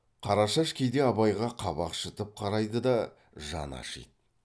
қарашаш кейде абайға қабақ шытып қарайды да жаны ашиды